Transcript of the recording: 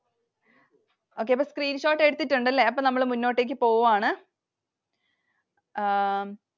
Okay, അപ്പൊ screenshots എടുത്തിട്ടുണ്ട് അല്ലെ. അപ്പോൾ നമ്മൾ മുന്നോട്ടേക്കു പോവുവാണ്. ആഹ്